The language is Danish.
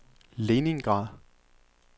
Leningrad